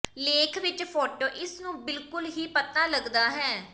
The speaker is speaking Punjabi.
ਲੇਖ ਵਿੱਚ ਫੋਟੋ ਇਸ ਨੂੰ ਬਿਲਕੁਲ ਹੀ ਪਤਾ ਲੱਗਦਾ ਹੈ